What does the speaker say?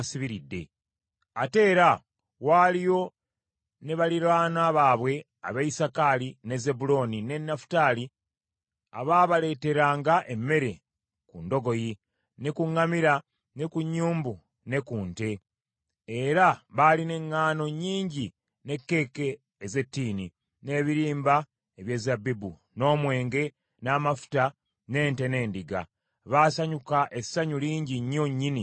Ate era waaliyo ne baliraanwa baabwe ab’e Isakaali, ne Zebbulooni, ne Nafutaali abaabaleeteranga emmere ku ndogoyi, ne ku ŋŋamira, ne ku nnyumbu ne ku nte, era baalina eŋŋaano nnyingi, ne keeke ez’ettiini, n’ebirimba eby’ezabbibu, n’omwenge, n’amafuta, n’ente n’endiga. Baasanyuka essanyu lingi nnyo nnyini mu Isirayiri.